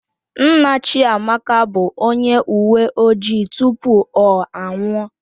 Nna Chiamaka bụ onye uwe ojii tupu ọ anwụọ